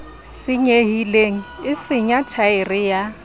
senyehileng e senya thaere ya